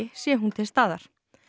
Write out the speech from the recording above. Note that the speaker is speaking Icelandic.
sé hún til staðar